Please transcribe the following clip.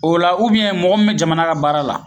O la ubiyɛn mɔgɔ min me jamana ka baara la